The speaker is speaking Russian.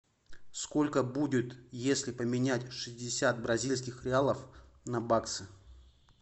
сколько будет если поменять шестьдесят бразильских реалов на баксы